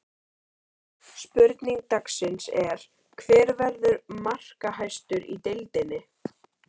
Spurning dagsins er: Hver verður markahæstur í deildinni?